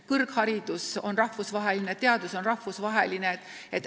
Kõrgharidus on rahvusvaheline, teadus on rahvusvaheline.